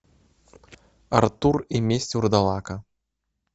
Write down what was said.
артур и месть вурдалака